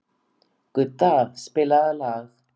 Gudda, spilaðu lag.